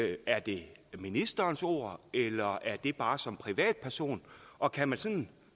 er det ministerens ord eller er det bare som privatperson og kan man sådan